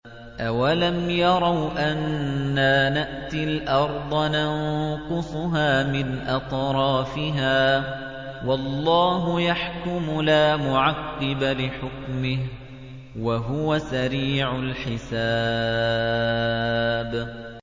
أَوَلَمْ يَرَوْا أَنَّا نَأْتِي الْأَرْضَ نَنقُصُهَا مِنْ أَطْرَافِهَا ۚ وَاللَّهُ يَحْكُمُ لَا مُعَقِّبَ لِحُكْمِهِ ۚ وَهُوَ سَرِيعُ الْحِسَابِ